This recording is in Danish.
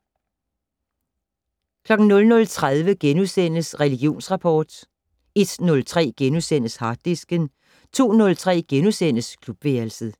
00:30: Religionsrapport * 01:03: Harddisken * 02:03: Klubværelset *